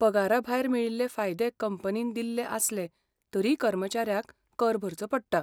पगाराभायर मेळिल्ले फायदे कंपनीन दिल्ले आसले तरी कर्मचाऱ्याक कर भरचो पडटा.